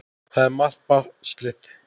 Það er margt baslið.